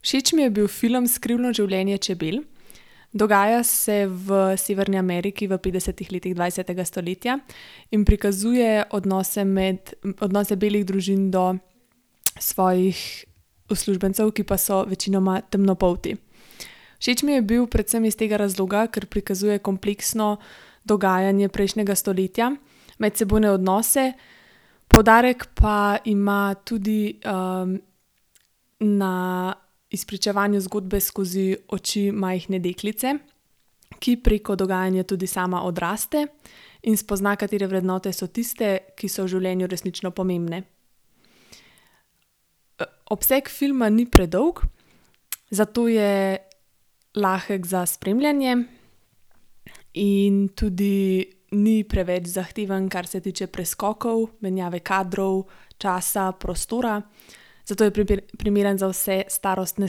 Všeč mi je bil film Skrivno življenje čebel. Dogaja se v Severni Ameriki v petdesetih letih dvajsetega stoletja in prikazuje odnose med, odnose belih družin do svojih uslužbencev, ki pa so večinoma temnopolti. Všeč mi je bil predvsem iz tega razloga, ker prikazuje kompleksno dogajanje prejšnjega stoletja, medsebojne odnose, poudarek pa ima tudi, na izpričevanju zgodbe skozi oči majhne deklice, ki preko dogajanja tudi sama odraste in spozna, katere vrednote so tiste, ki so v življenju resnično pomembne. obseg filma ni predolg, zato je lahek za spremljanje in tudi ni preveč zahteven, kar se tiče preskokov, menjave kadrov, časa, prostora, zato je primeren za vse starostne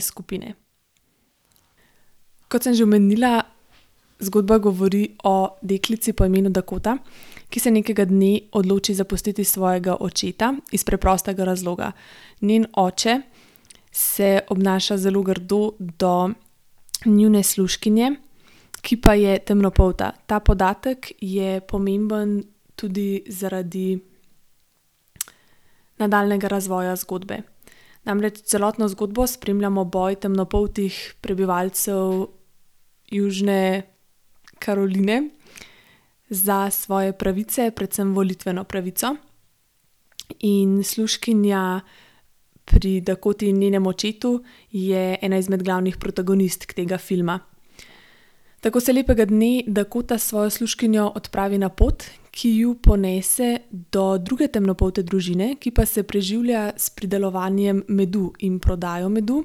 skupine. Kot sem že omenila, zgodba govori o deklici po imenu Dakota, ki se nekega dne odloči zapustiti svojega očeta iz preprostega razloga. Njen oče se obnaša zelo grdo do njune služkinje, ki pa je temnopolta, ta podatek je pomemben tudi zaradi nadaljnjega razvoja zgodbe. Namreč celotno zgodbo spremljamo boj temnopoltih prebivalcev Južne Karoline za svoje pravice, predvsem volitveno pravico. In služkinja pri Dakoti in njenem očetu je ena izmed glavnih protagonistk tega filma. Tako se lepega dne Dakota s svojo služkinjo odpravi na pot, ki jo ponese do druge temnopolte družine, ki pa se preživlja s pridelovanjem medu in prodajo medu,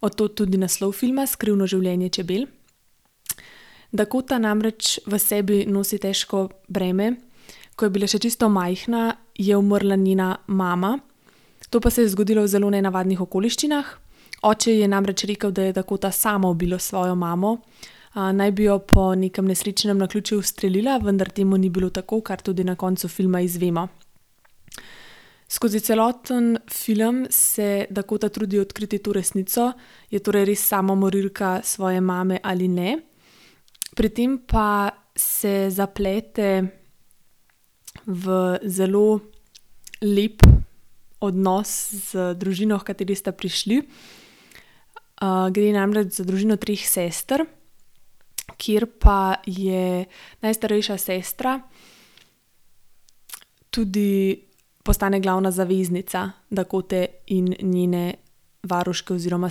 od tod tudi naslov filma, Skrivno življenje čebel. Dakota namreč v sebi nosi težko breme. Ko je bila še čisto majhna, je umrla njena mama. To pa se je zgodilo v zelo nenavadnih okoliščinah. Oče je namreč rekel, da je Dakota sama ubila svojo mamo. naj bi jo po nekem nesrečnem naključju ustrelila, vendar temu ni bilo tako, kar tudi na koncu filma izvemo. Skozi celoten film se Dakota trudi odkriti to resnico, je torej res sama morilka svoje mame ali ne. Pri tem pa se zaplete v zelo lep odnos z družino, h kateri sta prišli. gre namreč za družino treh sester, kjer pa je najstarejša sestra tudi postane glavna zaveznica Dakote in njene varuške oziroma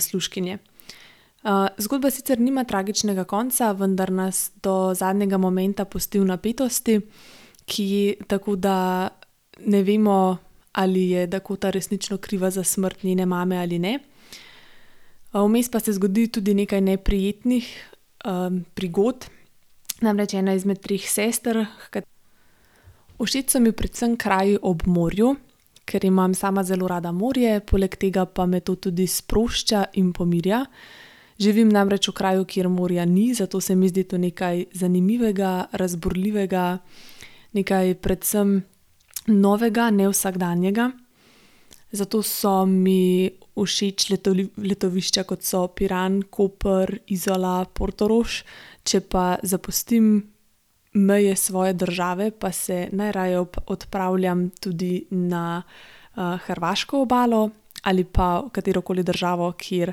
služkinje. zgodba sicer nima tragičnega konca, vendar nas do zadnjega momenta pusti v napetosti, ki, tako da ne vemo, ali je Dakota resnično kriva za smrt njene mame ali ne. vmes pa se zgodi tudi nekaj neprijetnih, prigod. Namreč ena izmed treh sester, h ... Všeč so mi predvsem kraji ob morju, ker imam sama zelo rada morje, poleg tega pa me to tudi sprošča in pomirja. Živim namreč v kraju, kjer morja ni, zato se mi zdi to nekaj zanimivega, razburljivega, nekaj predvsem novega, nevsakdanjega. Zato so mi všeč letovišča, kot so Piran, Koper, Izola, Portorož. Če pa zapustim meje svoje države, pa se najraje odpravljam tudi na, hrvaško obalo ali pa katerokoli državo, kjer,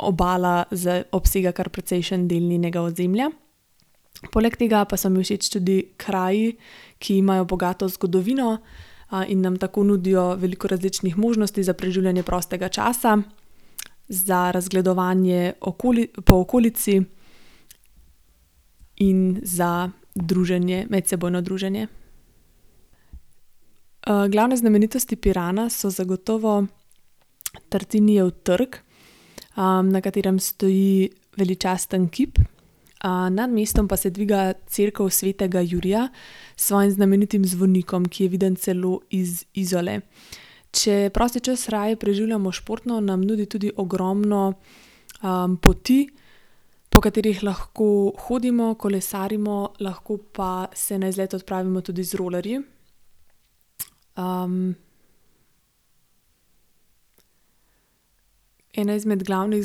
obala obsega kar precejšen del njenega ozemlja. Poleg tega pa so mi všeč tudi kraji, ki imajo bogato zgodovino, in nam tako nudijo veliko različnih možnosti za preživljanje prostega časa, za razgledovanje okoli po okolici in za druženje, medsebojno druženje. glavne znamenitosti Pirana so zagotovo Tartinijev trg, na katerem stoji veličasten kip, nad mestom pa se dviga Cerkev svetega Jurija s svojim znamenitim zvonikom, ki je viden celo iz Izole. Če prosti čas raje preživljamo športno, nam nudi tudi ogromno, poti, po katerih lahko hodimo, kolesarimo, lahko pa se na izlet odpravimo tudi z rolerji. ... Ena izmed glavnih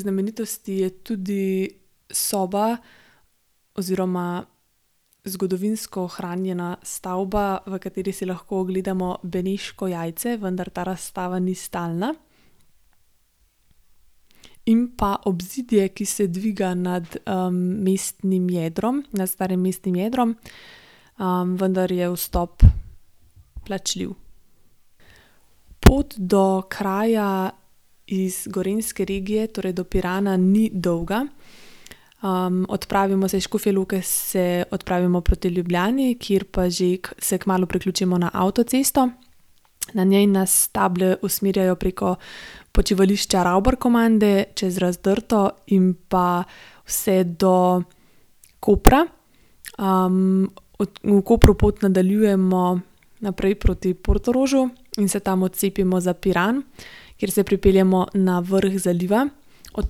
znamenitosti je tudi soba oziroma zgodovinsko ohranjena stavba, v kateri si lahko ogledamo Beneško jajce, vendar ta razstava ni stalna. In pa obzidje, ki se dviga nad, mestnim jedrom, nad starim mestnim jedrom, vendar je vstop plačljiv. Pot do kraja iz gorenjske regije, torej do Pirana, ni dolga. odpravimo se, iz Škofje Loke se odpravimo proti Ljubljani, kjer pa že se kmalu priključimo na avtocesto, na njej nas table usmerjajo preko počivališča Ravbarkomande čez Razdrto in pa vse do Kopra. v Kopru pot nadaljujemo naprej proti Portorožu in se tam odcepimo za Piran, kjer se pripeljemo na vrh zaliva, od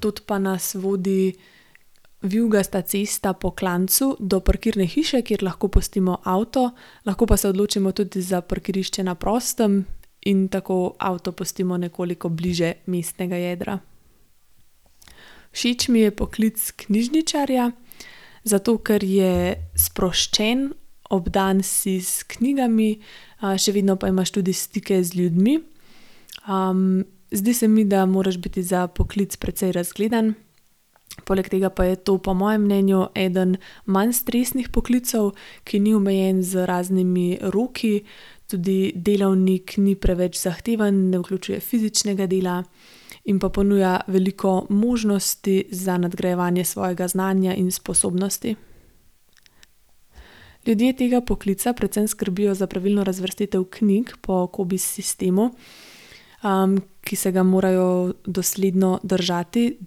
tod pa nas vodi vijugasta cesta po klancu do parkirne hiše, kjer lahko pustimo avto, lahko pa se odločimo tudi za parkirišče na prostem in tako avto pustimo nekoliko bliže mestnega jedra. Všeč mi je poklic knjižničarja, zato ker je sproščen, obdan si s knjigami, še vedno pa imaš tudi stike z ljudmi. zdi se mi, da moraš biti za poklic precej razgledan, poleg tega pa je to po mojem mnenju eden manj stresnih poklicev, ki ni omejen z raznimi roki. Tudi delovnik ni preveč zahteven, ne vključuje fizičnega dela in pa ponuja veliko možnosti za nadgrajevanje svojega znanja in sposobnosti. Ljudje tega poklica predvsem skrbijo za pravilno razvrstitev knjig po Cobiss sistemu, ki se ga morajo dosledno držati,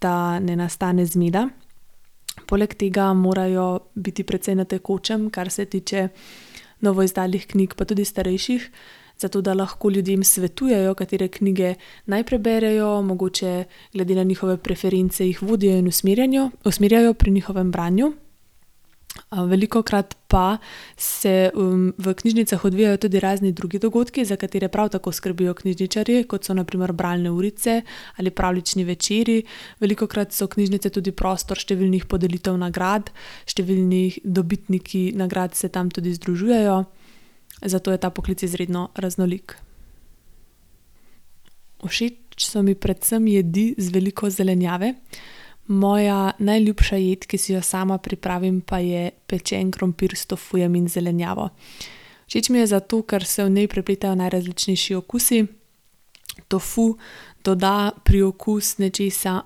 da ne nastane zmeda. Poleg tega morajo biti precej na tekočem, kar se tiče novo izdanih knjig, pa tudi starejših, zato da lahko ljudem svetujejo, katere knjige naj preberejo, mogoče glede na njihove preference jih vodijo in usmerjanjo, usmerjajo pri njihovem branju. velikokrat pa se, v knjižnicah odvijajo tudi razni drugi dogodki, za katere prav tako skrbijo knjižničarji, kot so na primer bralne urice ali pravljični večeri, velikokrat so knjižnice tudi prostor številnih podelitev nagrad, številnih dobitniki nagrad se tam tudi združujejo, zato je ta poklic izredno raznolik. Všeč so mi predvsem jedi z veliko zelenjave. moja najljubša jed, ki si jo sama pripravim, pa je pečen krompir s tofujem in zelenjavo. Všeč mi je zato, ker se v njej prepletajo najrazličnejši okusi. Tofu doda priokus nečesa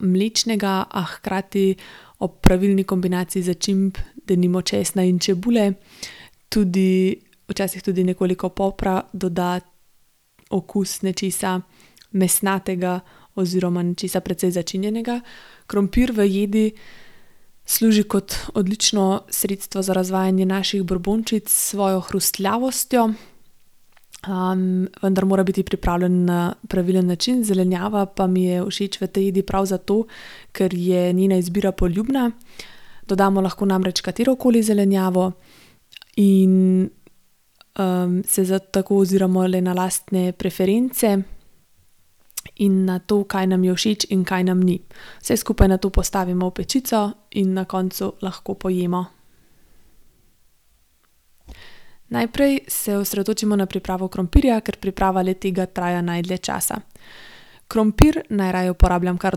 mlečnega, a hkrati ob pravilni kombinaciji začimb, denimo česna in čebule, tudi, včasih tudi nekoliko popra doda okus nečesa mesnatega oziroma nečesa precej začinjenega. Krompir v jedi služi kot odlično sredstvo za razvajanje naših brbončic s svojo hrustljavostjo, vendar mora biti pripravljen na pravilen način, zelenjava pa mi je všeč v tej jedi prav zato, ker je njena izbira poljubna. Dodamo lahko namreč katerokoli zelenjavo in, se tako oziramo le na lastne preference in na to, kaj nam je všeč in kaj nam ni. Vse skupaj nato postavimo v pečico in na koncu lahko pojemo. Najprej se osredotočimo na pripravo krompirja, ker priprava le-tega traja najdlje časa. Krompir, najraje uporabljam kar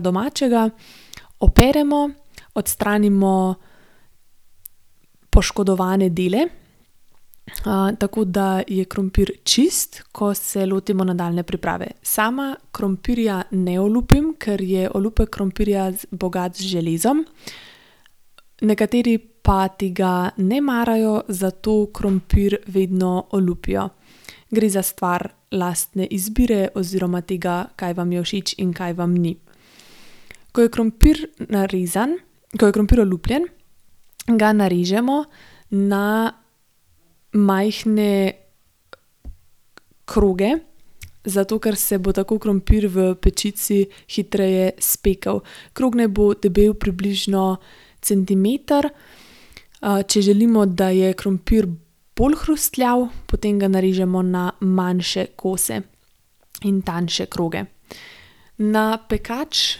domačega, operemo, odstranimo poškodovane dele, tako da je krompir čisto, ko se lotimo nadaljnje priprave. Sama krompirja ne olupim, ker je olupek krompirja bogat z železom. Nekateri pa tega ne marajo, zato krompir vedno olupijo, gre za stvar lastne izbire oziroma tega, kaj vam je všeč in kaj vam ni. Ko je krompir narezan, ko je krompir olupljen, ga narežemo na majhne kroge, zato ker se bo tako krompir v pečici hitreje spekel. Krog naj bo debel približno centimeter, če želimo, da je krompir bolj hrustljav, potem ga narežemo na manjše kose in tanjše kroge. Na pekač,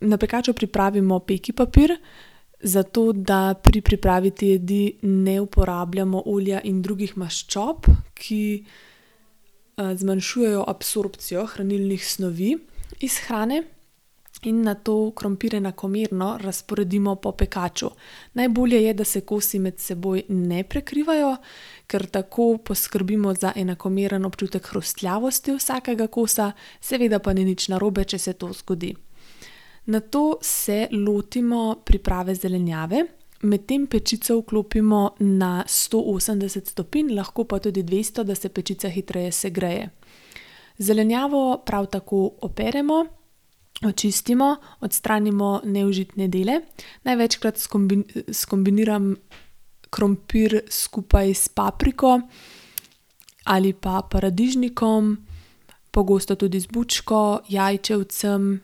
na pekaču pripravimo peki papir, zato da pri pripravi te jedi ne uporabljamo olja in drugih maščob, ki, zmanjšujejo absorpcijo hranilnih snovi iz hrane, in nato krompir enakomerno razporedimo po pekaču. Najbolje je, da se kosi med seboj ne prekrivajo, ker tako poskrbimo za enakomeren občutek hrustljavosti vsakega kosa, seveda pa ni nič narobe, če se to zgodi. Nato se lotimo priprave zelenjave. Medtem pečico vklopimo na sto osemdeset stopinj, lahko pa tudi dvesto, da se pečica hitreje segreje. Zelenjavo prav tako operemo, očistimo, odstranimo neužitne dele. Največkrat skombiniram krompir skupaj s papriko ali pa paradižnikom, pogosto tudi z bučko, jajčevcem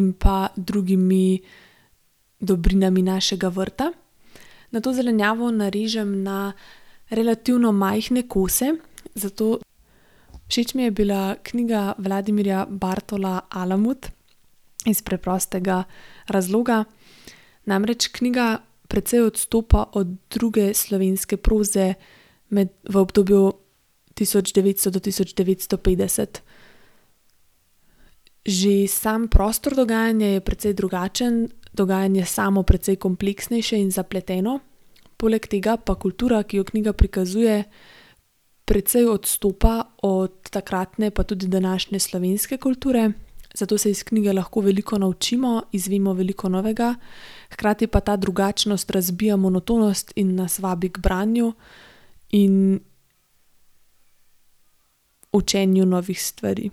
in pa drugimi dobrinami našega vrta. Nato zelenjavo narežem na relativno majhne kose, zato. Všeč mi je bila knjiga Vladimirja Bartola Alamut iz preprostega razloga, namreč knjiga precej odstopa od druge slovenske proze. v obdobju tisoč devetsto do tisoč devetsto petdeset. Že sam prostor dogajanja je precej drugačen, dogajanje samo precej kompleksnejše in zapleteno, poleg tega pa kultura, ki jo knjiga prikazuje, precej odstopa od takratne, pa tudi današnje slovenske kulture, zato se iz knjige lahko veliko naučimo, izvemo veliko novega, hkrati pa ta drugačnost razbija monotonost in nas vabi k branju in učenju novih stvari.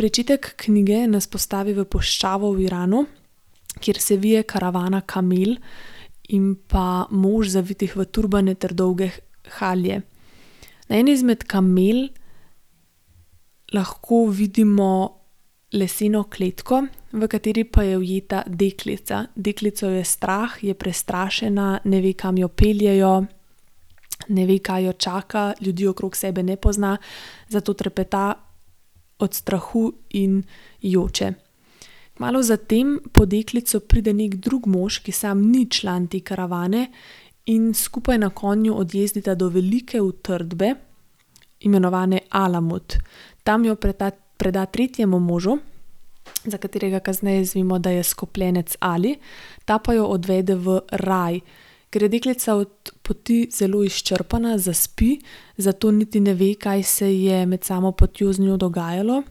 Pričetek knjige nas postavi v puščavo v Iranu, kjer se vije karavana kamel in pa mož, zavitih v turbane ter dolge halje. Na eni izmed kamel lahko vidimo leseno kletko, v kateri pa je ujeta deklica. Deklico je strah, je prestrašena, ne ve, kam jo peljejo, Ne ve, kaj jo čaka. Ljudi okrog sebe ne pozna, zato trepeta od strahu in joče. Malo za tem po deklico pride neki drug mož, ki samo ni član te karavane, in skupaj na konju odjezdita do velike utrdbe, imenovane Alamut. Tam jo preda, preda tretjemu možu, za katerega kasneje izvemo, da je skopljenec Ali, ta pa jo odvede v raj. Ker je deklica od poti zelo izčrpana, zaspi, zato niti ne ve, kaj se ji je med samo potjo z njo dogajalo,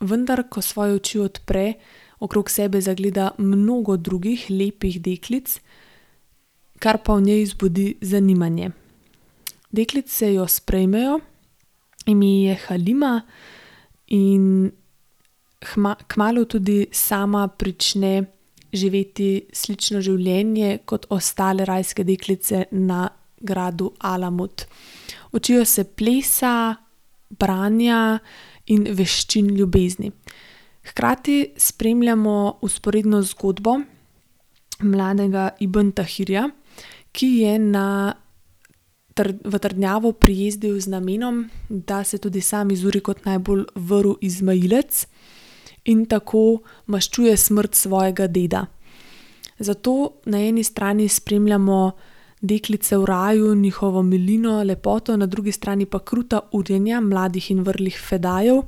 vendar ko svoje oči odpre, okrog sebe zagleda mnogo drugih lepih deklic, kar pa v njej zbudi zanimanje. Deklice jo sprejmejo, ime ji je Halima in kmalu tudi sama prične živeti slično življenje kot ostale rajske deklice na gradu Alamut. Učijo se plesa, branja in veščin ljubezni. Hkrati spremljamo vzporedno zgodbo mladega Ibn Tahirja, ki je na v trdnjavo prijezdil z namenom, da se tudi sam izuri kot najbolj vrl izmajilec in tako maščuje smrt svojega deda. Zato na eni strani spremljamo deklice v raju, njihovo milino, lepoto, na drugi strani pa kruta urjenja mladih in vrlih fedaijev,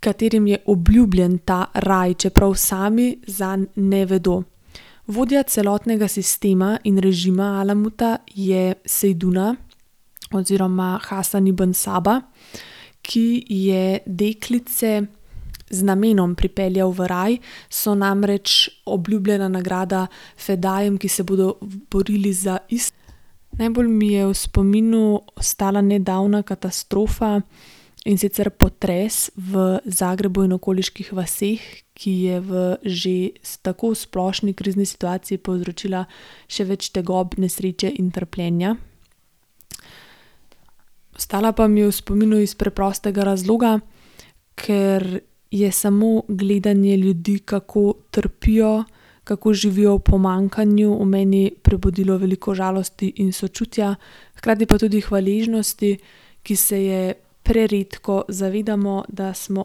katerim je obljubljen ta raj, čeprav sami zanj ne vedo. Vodja celotnega sistema in režima Alamuta je Seiduna oziroma Hasan Ibn Saba, ki je deklice z namenom pripeljal v raj, so namreč obljubljena nagrada fedaijem, ki se bodo borili za Najbolj mi je v spominu ostala nedavna katastrofa, in sicer potres v Zagrebu in okoliških vaseh, ki je v že tako splošni krizni situaciji povzročila še več tegob, nesreče in trpljenja. Ostala pa mi je v spominu iz preprostega razloga, ker je samo gledanje ljudi, kako trpijo, kako živijo v pomanjkanju, v meni prebudilo veliko žalosti in sočutja, hkrati pa tudi hvaležnosti, ki se je preredko zavedamo, da smo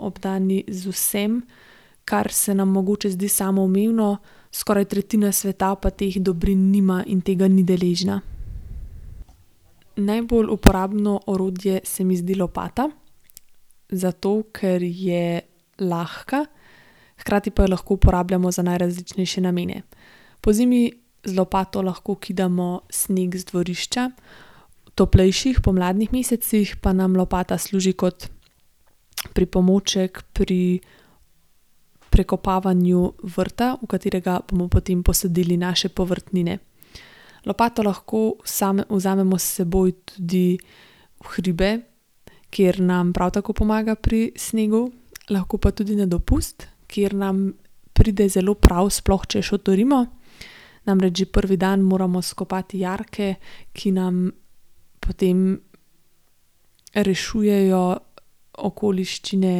obdani z vsem, kar se nam mogoče zdi samoumevno, skoraj tretjina sveta pa teh dobrin nima in tega ni deležna. Najbolj uporabno orodje se mi zdi lopata, zato ker je lahka, hkrati pa jo lahko uporabljamo za najrazličnejše namene. Pozimi z lopato lahko kidamo sneg z dvorišča, v toplejših pomladnih mesecih pa nam lopata služi kot pripomoček pri prekopavanju vrta, v katerega bomo potem posadili naše povrtnine. Lopato lahko vzamemo s seboj tudi v hribe, kjer nam prav tako pomaga pri snegu, lahko pa tudi na dopust, kjer nam pride zelo prav, sploh če šotorimo. Namreč že prvi dan moramo skopati jarke, ki nam potem rešujejo okoliščine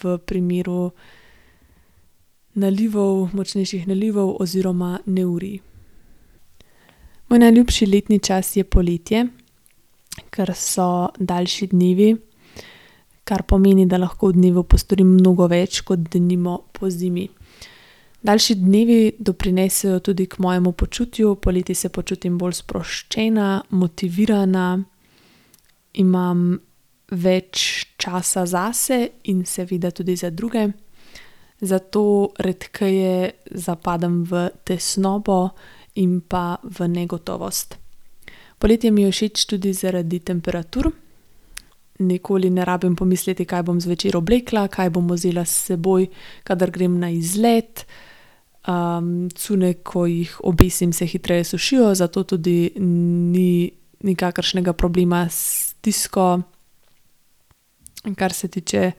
v primeru nalivov, močnejših nalivov oziroma neurij. Moj najljubši letni čas je poletje, ker so daljši dnevi, kar pomeni, da lahko v dnevu postorim mnogo več kot denimo pozimi. Daljši dnevi doprinesejo tudi k mojemu počutju, poleti se počutim bolj sproščena, motivirana, imam več časa zase in seveda tudi za druge, zato redkeje zapadem v tesnobo in pa v negotovost. Poletje mi je všeč tudi zaradi temperatur. Nikoli ne rabim pomisliti, kaj bom zvečer oblekla, kaj bom vzela s seboj, kadar grem na izlet. cunje, ko jih obesim, se hitreje sušijo, zato tudi ni nikakršnega problema s stisko, kar se tiče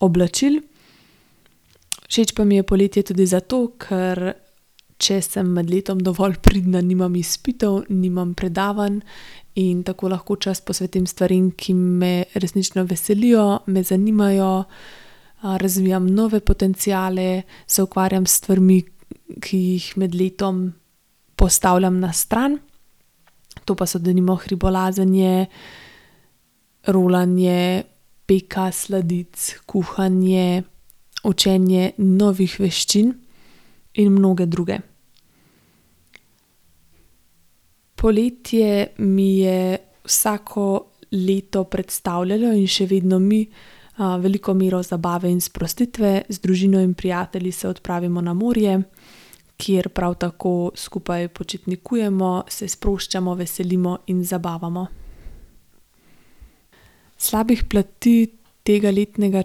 oblačil. Všeč pa mi je poletje tudi zato, ker če sem med letom dovolj pridna, nimam izpitov, nimam predavanj in tako lahko čas posvetim stvarem, ki me resnično veselijo, me zanimajo, razvijam nove potenciale, se ukvarjam s stvarmi, ki jih med letom postavljam na stran. To pa so denimo hribolazenje, rolanje, peka sladic, kuhanje, učenje novih veščin in mnoge druge. Poletje mi je vsako leto predstavljalo in še vedno mi, veliko mero zabave in sprostitve. Z družino in prijatelji se odpravimo na morje, kjer prav tako skupaj počitnikujemo, se sproščamo, veselimo in zabavamo. Slabih plati tega letnega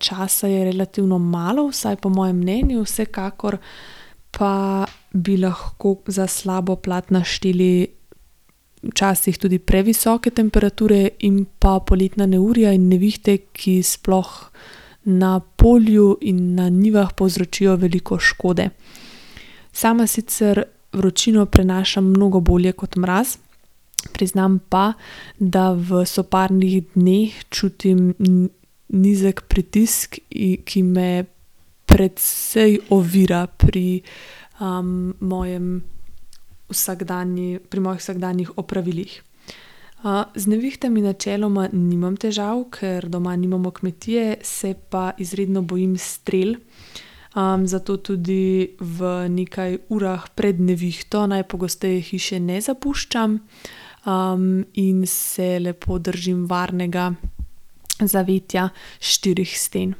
časa je relativno malo, vsaj po mojem mnenju, vsekakor pa bi lahko za slabo plat našteli včasih tudi previsoke temperature in pa poletna neurja in nevihte, ki sploh na polju in na njivah povzročijo veliko škode. Sama sicer vročino prenašam mnogo bolje kot mraz, priznam pa, da v soparnih dneh čutim nizko pritisk ki je precej ovira pri, mojem pri mojih vsakdanjih opravilih. z nevihtami načeloma nimam težav, ker doma nimamo kmetije, se pa izredno bojim strel, zato tudi v nekaj urah pred nevihto najpogosteje hiše ne zapuščam, in se lepo držim varnega zavetja štirih sten.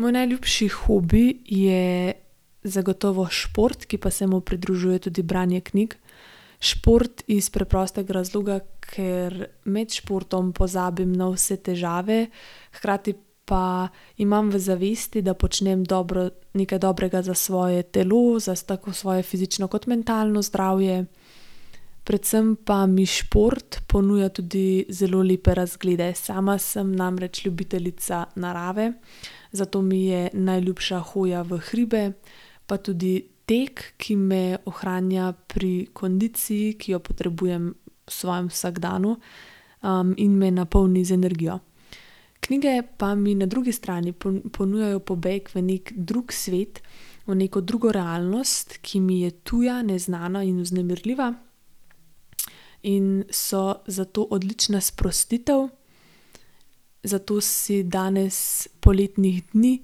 Moj najljubši hobi je zagotovo šport, ki pa se mu pridružuje tudi branje knjig. Šport iz preprostega razloga, ker med športom pozabim na vse težave, hkrati pa imam v zavesti, da počnem dobro, nekaj dobrega za svoje telo, za tako za svoje fizično kot mentalno zdravje, predvsem pa mi šport ponuja tudi zelo lepe razglede. Sama sem namreč ljubiteljica narave, zato mi je najljubša hoja v hribe, pa tudi tek, ki me ohranja pri kondiciji, ki jo potrebujem v svojm vsakdanu, in me napolni z energijo. Knjige pa mi na drugi strani ponujajo pobeg v neki drug svet, v neko drugo realnost, ki mi je tuja, neznana in vznemirljiva, in so zato odlična sprostitev, zato si danes poletnih dni,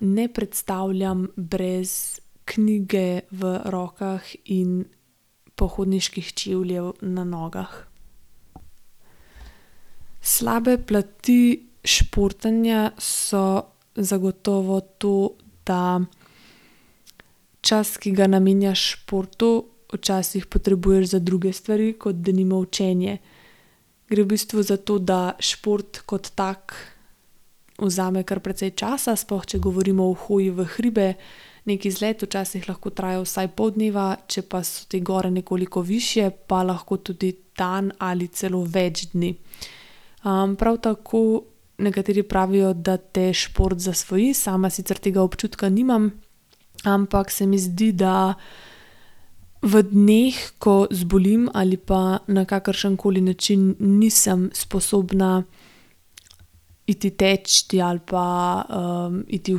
ne predstavljam brez knjige v rokah in pohodniških čevljev na nogah. Slabe plati športanja so zagotovo to, da čas, ki ga namenjaš športu, včasih potrebuješ za druge stvari, kot denimo učenje. Gre v bistvu za to da, šport kot tak vzame kar precej časa, sploh če govorimo o hoji v hribe. Neki izlet včasih lahko traja vsaj pol dneva, če pa so te gore nekoliko višje, pa lahko tudi dan ali celo več dni. prav tako nekateri pravijo, da te šport zasvoji, sama sicer tega občutka nimam, ampak se mi zdi, da v dneh, ko zbolim ali pa na kakršenkoli način nisem sposobna iti teč ali pa, iti v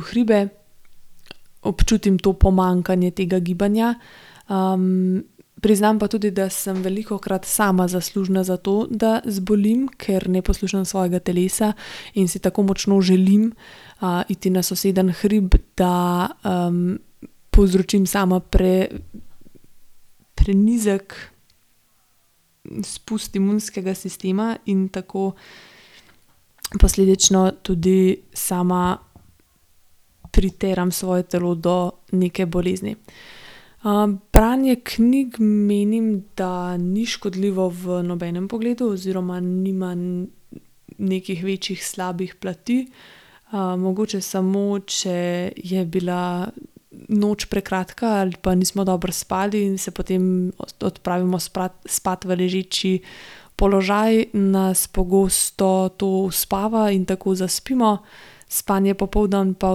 hribe, občutim to pomanjkanje tega gibanja. priznam pa tudi, da sem velikokrat sama zaslužna za to, da zbolim, ker ne poslušam svojega telesa in si tako močno želim, iti na sosednji hrib, da, povzročim sama prenizek spust imunskega sistema in tako posledično tudi sama priteram svoje telo do neke bolezni. branje knjig, menim, da ni škodljivo v nobenem pogledu oziroma nima nekih večjih slabih plati. mogoče samo, če je bila noč prekratka ali pa nismo dobro spali, se potem odpravimo spat v ležeči položaj, nas pogosto to uspava in tako zaspimo. Spanje popoldan pa